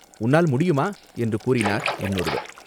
உன்னால் முடியுமா?" என்று கூறினார் இன்னொருவர்.